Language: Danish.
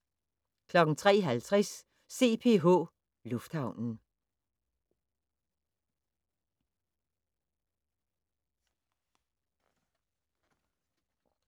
03:50: CPH Lufthavnen